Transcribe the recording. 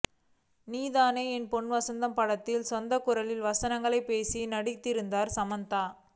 நீ தானே என் பொன் வசந்தம் படத்தில் சொந்த குரலில் வசனங்களை பேசி நடித்திருந்தார் சமந்தா